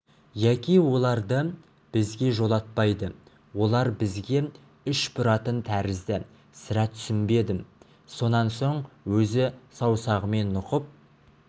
яки оларды бізге жолатпайды олар бізге іш бұратын тәрізді сірә түсінбедім сонан соң өзі саусағымен нұқып